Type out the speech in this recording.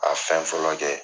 A fɛn fɔlɔ kɛ